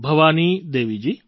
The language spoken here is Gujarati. ભવાનીદેવીજી